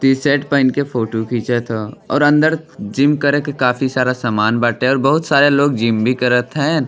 T-shirt पहिन क photo खिचत हा और अंदर जिम करे के काफी सारा सामान बाटे और बहुत सारा लोग जिम भी करथ हैं।